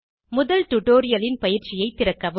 முதல் டுடோரியலின் பயிற்சியை திறக்கவும்